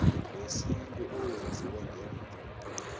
wesintu owenziwe ngemva